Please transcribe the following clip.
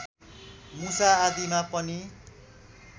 मुसा आदिमा पनि